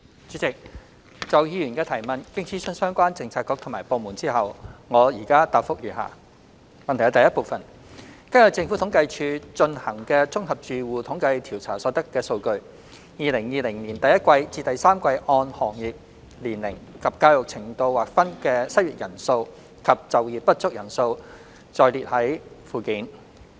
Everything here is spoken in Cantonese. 主席，就議員的主體質詢，經諮詢相關政策局及部門後，我的主體答覆如下：一根據政府統計處進行的"綜合住戶統計調查"所得數據 ，2020 年第一季至第三季按行業、年齡及教育程度劃分的失業人數及就業不足人數載列於附件。